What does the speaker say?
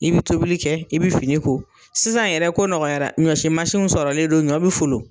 I bi tobili kɛ, i bi fini ko . Sisan yɛrɛ ko nɔgɔyara, ɲɔsi sɔrɔlen don ɲɔ be folon.